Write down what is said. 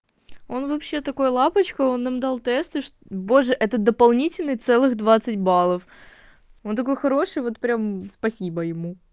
он вообще такой лапочка он нам дал тесты ж боже это дополнительных целых двадцать баллов он такой хороший вот прям спасибо ему